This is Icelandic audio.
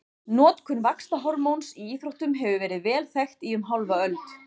Notkun vaxtarhormóns í íþróttum hefur verið vel þekkt í um hálfa öld.